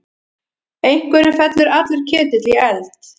Einhverjum fellur allur ketill í eld